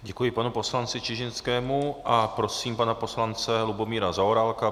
Děkuji panu poslanci Čižinskému a prosím pana poslance Lubomíra Zaorálka.